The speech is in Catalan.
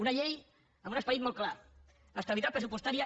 una llei amb un esperit molt clar estabilitat pressupostària